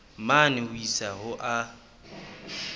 mane ho isa ho a